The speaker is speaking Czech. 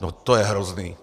No, to je hrozný!